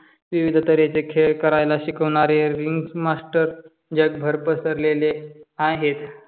विविधतरेचे खेळ करायला शिकवणारे रिंग्स मास्टर यात भरत सरलेले आहेत.